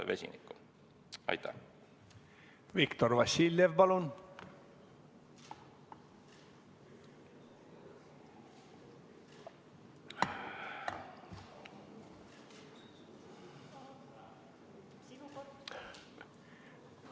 Viktor Vassiljev, palun!